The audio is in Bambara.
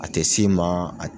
A tɛ s'i ma